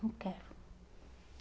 Não quero.